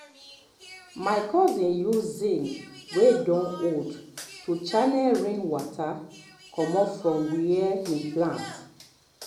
my cousin use zince wey don old to channel rain water comot from where him plant